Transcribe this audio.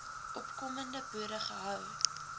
opkomende boere gehou